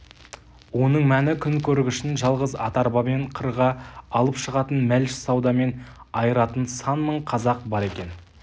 оның мәні күнкөргішін жалғыз ат-арбамен қырға алып шығатын мәліш-саудамен айыратын сан мың қазақ бар екен